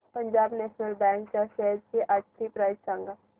Punjab national bank च्या shares आजची price सांगा